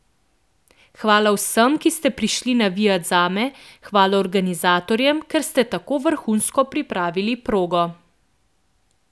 Hvala vsem, ki ste prišli navijat zame, hvala organizatorjem, ker ste tako vrhunsko pripravili progo.